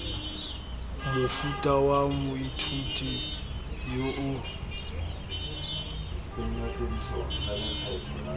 mofuta wa moithuti yo o